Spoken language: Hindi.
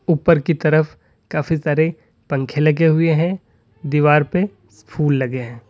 ऊपर की तरफ काफी सारे पंखे लगे हुए हैं दीवार पे फूल लगे हैं।